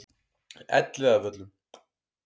Elliðavöllum